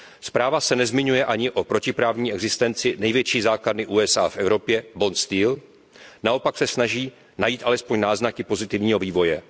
Zpráva se nezmiňuje ani o protiprávní existenci největší základny USA v Evropě, Bond Steel naopak se snaží najít alespoň náznaky pozitivního vývoje.